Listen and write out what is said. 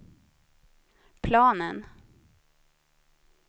planen